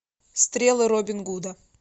стрелы робин гуда